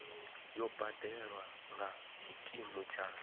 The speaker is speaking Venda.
yo badelwa nga tshikimu kha